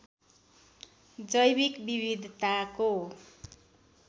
जैविक विविधताको